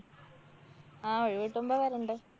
ആ ഒഴിവ് കിട്ടുമ്പോ വരണ്ട്.